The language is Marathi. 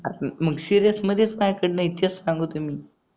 मग सिरीयस मध्ये माझ्याकडे नाही तेच सांगतोय मी